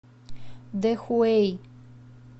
дэхуэй